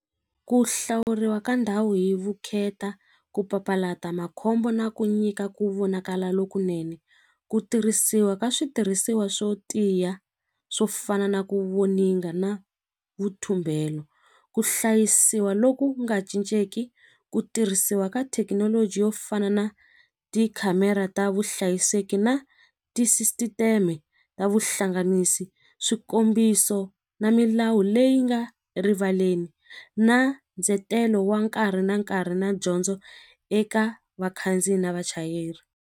Ku hlawuriwa ka ndhawu hi vukheta ku papalata makhombo na ku nyika ku vonakala lokunene ku tirhisiwa ka switirhisiwa swo tiya swo fana na ku voninga na vuthumbelo ku hlayisiwa loku nga cincenki ku tirhisiwa ka thekinoloji yo fana na tikhamera ta vuhlayiseki na ta vuhlanganisi swikombiso na milawu leyi nga erivaleni na ndzetelo wa nkarhi na nkarhi na dyondzo eka vakhandziyi na vachayeri.